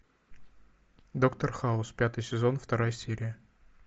доктор хаус пятый сезон вторая серия